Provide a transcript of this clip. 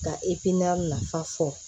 Ka nafa fɔ